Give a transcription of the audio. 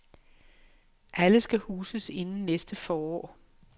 Alle skal huses inden næste forår.